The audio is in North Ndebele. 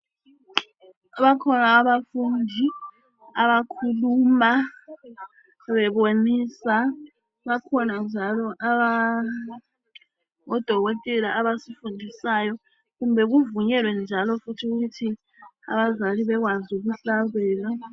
Bakhona abafundi abakhuluma bebonisa, bakhona njalo odokotela abasifundisayo kumbe, kuvunyelwe njalo futhi ukuthi abazali bekwazi ukuhlabela.